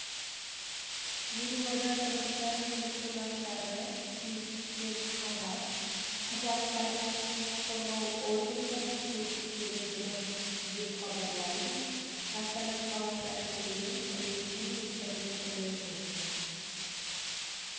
елорда тұрғындары мен қонақтары түсіністікпен қарап құжаттарын құқық қорғау органдарына көрсеткені дұрыс деп хабарлайды астана қаласы әкімдігінің ресми интернет-ресурсы